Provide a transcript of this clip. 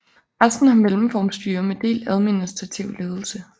Resten har mellemformstyre med delt administrativ ledelse